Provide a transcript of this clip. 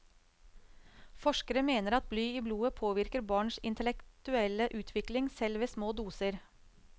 Forskere mener at bly i blodet påvirker barns intellektuelle utvikling, selv ved små doser.